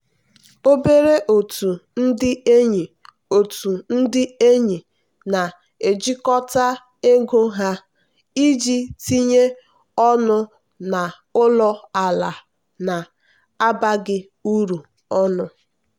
obere otu ndị enyi otu ndị enyi na-ejikọta ego ha iji tinye ọnụ n'ụlọ ala na-abaghị uru ọnụ.